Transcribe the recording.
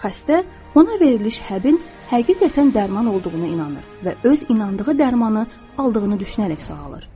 Xəstə ona veriliş həbin həqiqətən dərman olduğuna inanır və öz inandığı dərmanı aldığını düşünərək sağalır.